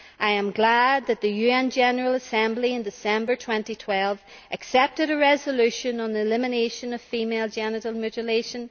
I am glad that the UN General Assembly in December 2012 adopted a resolution on the elimination of female genital mutilation.